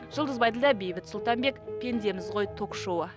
жұлдыз байділдә бейбіт сұлтанбек пендеміз ғой ток шоуы